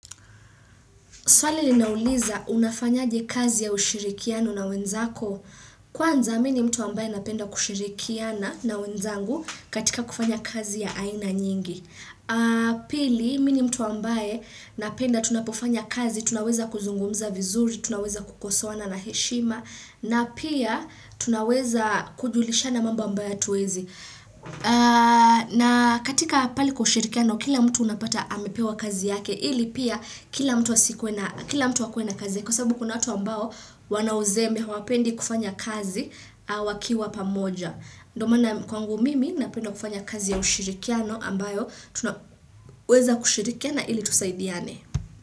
Swali linauliza, unafanyaje kazi ya ushirikiano na wenzako. Kwanza, mini mtu ambaye napenda kushirikiana na wenzangu katika kufanya kazi ya aina nyingi. Pili, mini mtu ambaye napenda tunapofanya kazi, tunaweza kuzungumza vizuri, tunaweza kukosowaana na heshima, na pia tunaweza kujulisha na mambo ambaye hatuezi. Na katika pale kw ushirikiano, kila mtu unapata amepewa kazi yake, ili pia kila mtu wakwena kazi kwa sababu kuna hatu ambao wana uzeme wapendi kufanya kazi wakiwa pamoja. Ndo maana kwangu mimi napenda kufanya kazi ya ushirikiano ambayo tunaweza kushirikia na ili tusaidiane.